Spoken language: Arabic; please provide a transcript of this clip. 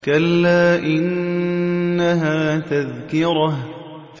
كَلَّا إِنَّهَا تَذْكِرَةٌ